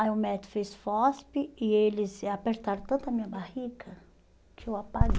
Aí o médico fez e eles apertaram tanto a minha barriga que eu